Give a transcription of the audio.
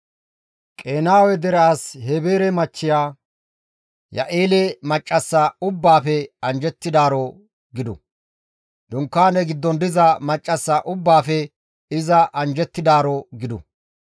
«Qenaawe dere as Heebere machchiya Ya7eela maccassa ubbaafe anjjettidaaro gidu. Dunkaane giddon diza maccassa ubbaafe iza anjjettidaaro gidu.